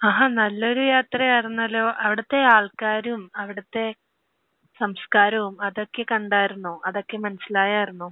ആഹാ. നല്ലൊരു യാത്രയായിരുന്നല്ലോ. അവിടുത്തെ ആൾക്കാരും അവിടുത്തെ സംസ്കാരവും അതൊക്കെ കണ്ടായിരുന്നോ? അതൊക്കെ മനസ്സിലായായിരുന്നോ?